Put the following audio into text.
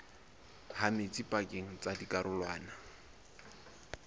ha metsi pakeng tsa dikarolwana